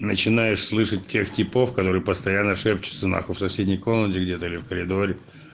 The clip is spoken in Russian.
начинаешь слышать тех типов которые постоянно шепчутся нахуй в соседней комнате где-то или в коридоре